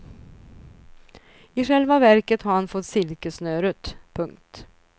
I själva verket har han fått silkessnöret. punkt